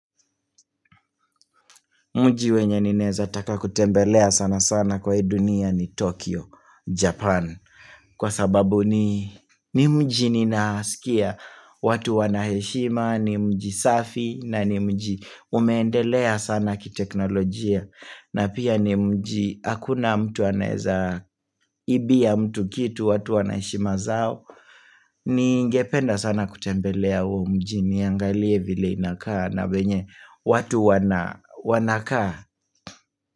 Mji wenye ninaeza taka kutembelea sana sana kwa hii dunia ni Tokyo, Japan. Kwa sababu ni mji ninaskia watu wana heshima, ni mji safi na ni mji umeendelea sana kiteknolojia. Na pia ni mji hakuna mtu anaeza ibia mtu kitu watu wana heshima zao. Ningependa sana kutembelea huo mji niangalie vile inakaa na venye watu wanakaa.